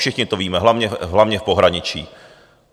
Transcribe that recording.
Všichni to víme, hlavně v pohraničí.